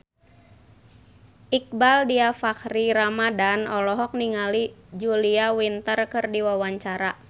Iqbaal Dhiafakhri Ramadhan olohok ningali Julia Winter keur diwawancara